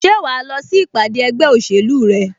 Ṣé wà á lọ sí ìpàdé ẹgbẹ́ òṣèlú rẹ?